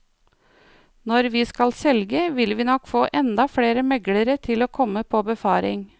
Når vi skal selge, vil vi nok få enda flere meglere til å komme på befaring.